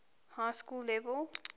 high school level